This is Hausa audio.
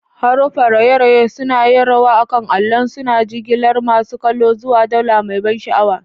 Haruffan raye-raye sun yi rawa akan allon, suna jigilar masu kallo zuwa daula mai ban sha'awa.